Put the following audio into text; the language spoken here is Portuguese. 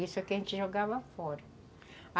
Isso aqui, a gente jogava fora.